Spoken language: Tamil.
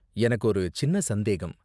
எனக்கு ஒரு சின்ன சந்தேகம்